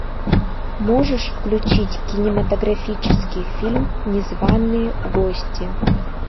можешь включить кинематографический фильм незваные гости